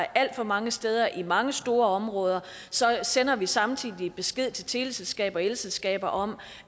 alt for mange steder i mange store områder sender vi samtidig besked til teleselskaber og elselskaber om